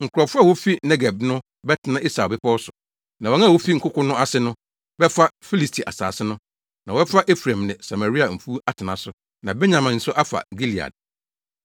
Nkurɔfo a wofi Negeb no bɛtena Esau mmepɔw so, Na wɔn a wofi nkoko no ase no, bɛfa Filisti asase no, na wɔbɛfa Efraim ne Samaria mfuw atena so, na Benyamin nso afa Gilead.